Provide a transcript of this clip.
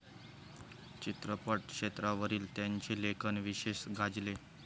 चित्रपट क्षेत्रावरील त्यांचे लेखन विशेष गाजले.